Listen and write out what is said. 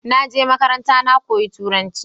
naje makaranta na koyi turanci